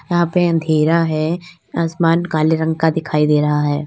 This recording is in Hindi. यहां पे अंधेरा है आसमान काले रंग का दिखाई दे रहा है।